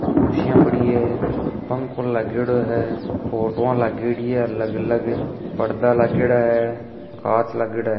कुर्सिया पड़ी है पंखों लागेड़ो है फोटूवा लागेड़ी है अलग अलग पर्दा लागेड़ा है कांच लागेड़ा है।